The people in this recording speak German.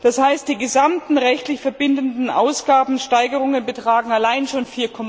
Das heißt, die gesamten rechtlich verbindlichen Ausgabensteigerungen betragen allein schon